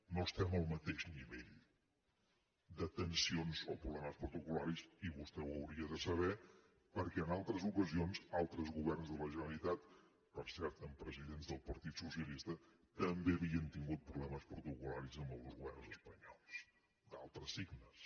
no estem al mateix nivell de tensions o problemes protocolperquè en altres ocasions altres governs de la generalitat per cert amb presidents del partit socialista també havien tingut problemes protocol·laris amb els governs espanyols d’altres signes